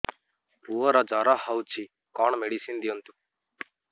ପୁଅର ଜର ହଉଛି କଣ ମେଡିସିନ ଦିଅନ୍ତୁ